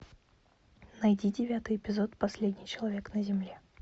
найди девятый эпизод последний человек на земле